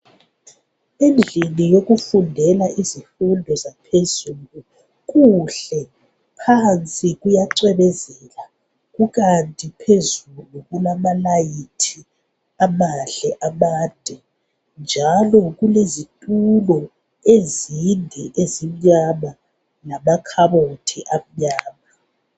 Endlini yokufundela izifundo zaphezulu kuhle phansi kuyacwebezela kukanti phezulu kulamalayithi amahle amade njalo kulezitulo ezinde ezimnyama lamakhabothi amnyama